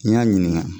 N y'a ɲininka